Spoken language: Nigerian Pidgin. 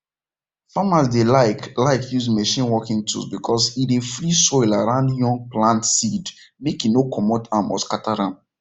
farmers dey like like use machine working tools because e dey free soil around young plant seed make e no comot am or scatter am